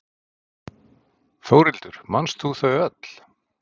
Þórhildur: Manst þú þau öll?